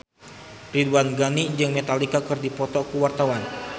Ridwan Ghani jeung Metallica keur dipoto ku wartawan